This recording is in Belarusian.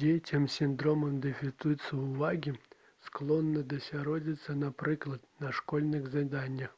дзецям з сіндромам дэфіцыту ўвагі складана засяродзіцца напрыклад на школьных заданнях